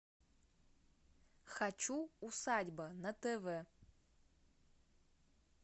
хочу усадьба на тв